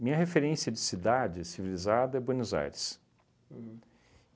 Minha referência de cidade civilizada é Buenos Aires. Uhum